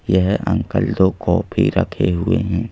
यह अंकल दो कॉपी रखे हुए हैं।